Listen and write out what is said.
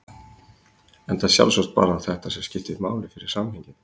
Enda sjálfsagt bara þetta sem skipti máli fyrir samhengið.